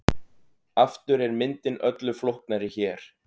Aftur er myndin öllu flóknari hér.